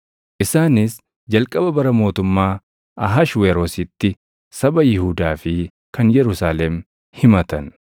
Isaanis jalqaba bara mootummaa Ahashweroositti saba Yihuudaa fi kan Yerusaalem himatan.